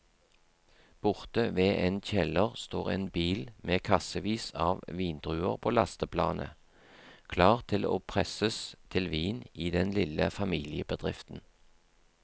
Borte ved en kjeller står en bil med kassevis av vindruer på lasteplanet, klar til å presses til vin i den lille familiebedriften.